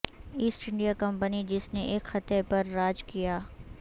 asset India Company جس نے ایک خطے پر راج کیا